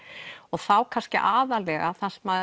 þá kannski aðallega